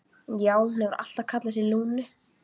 Já, hún hefur alltaf kallað sig Lúnu.